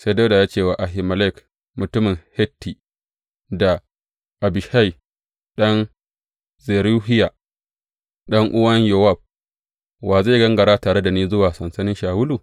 Sai Dawuda ya ce wa Ahimelek mutumin Hitti da Abishai ɗan Zeruhiya ɗan’uwan Yowab, Wa zai gangara tare da ni zuwa sansanin Shawulu?